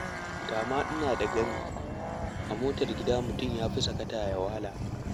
Da ma ina da gami, a motar gida mutum ya fi sakata ya wala.